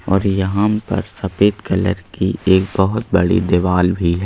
और यहां पर सफेद कलर की एक बहुत बड़ी दीवार भी है।